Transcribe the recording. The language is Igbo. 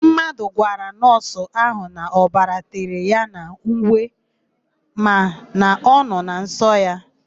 Mmadụ gwara nọọsụ ahụ na ọbara tere ya n'uwe makana ọ nọ na nsọ ya.